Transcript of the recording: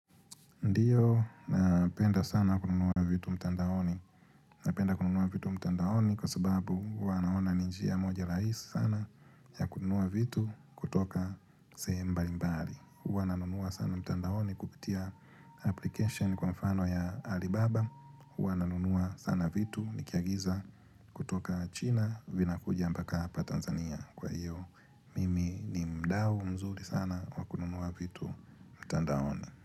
Ndiyo, napenda sana kununua vitu mtandaoni. Napenda kununua vitu mtandaoni kwa sababu huwa naona ni njia moja rahisi sana ya kununua vitu kutoka sehemu mbalimbali. Naunua sana mtandaoni kupitia application kwa mfano ya Alibaba. Huwa nanunua sana vitu nikiagiza kutoka China vinakuja mpaka hapa Tanzania kwa hiyo. Mimi ni mdau mzuri sana wa kununua vitu mtandaoni.